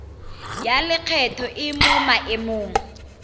ya lekgetho e mo maemong